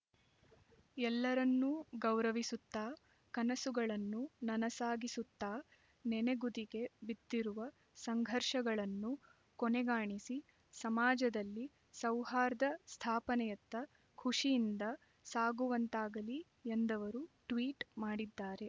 ಎಲ್ಲರನ್ನೂ ಗೌರವಿಸುತ್ತಾ ಕನಸುಗಳನ್ನು ನನಸಾಗಿಸುತ್ತಾ ನೆನೆಗುದಿಗೆ ಬಿದ್ದಿರುವ ಸಂಘರ್ಷಗಳನ್ನು ಕೊನೆಗಾಣಿಸಿ ಸಮಾಜದಲ್ಲಿ ಸೌಹಾರ್ದ ಸ್ಥಾಪನೆಯತ್ತ ಖುಷಿಯಿಂದ ಸಾಗುವಂತಾಗಲಿ ಎಂದವರು ಟ್ವೀಟ್ ಮಾಡಿದ್ದಾರೆ